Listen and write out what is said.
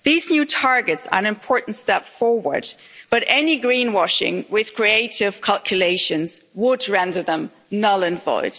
These new targets are an important step forward, but any greenwashing with creative calculations would render them null and void.